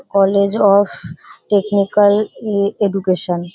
College of technical education.